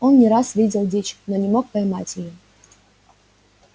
он не раз видел дичь но не мог поймать её